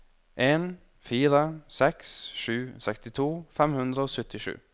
en fire seks sju sekstito fem hundre og syttisju